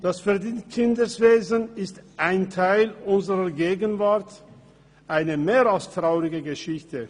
Das Verdingkinderwesen ist ein Teil unserer Gegenwart, eine mehr als traurige Geschichte.